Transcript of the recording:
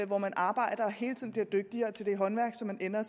hvor man arbejder og hele tiden bliver dygtigere til det håndværk som man ender